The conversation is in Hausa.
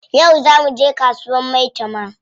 Yau zaa muje kasuwar maitama?